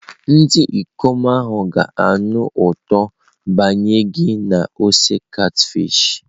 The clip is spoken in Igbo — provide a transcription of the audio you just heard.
Ndị ikom ahụ ga-anụ ụtọ biya gị na ose catfish.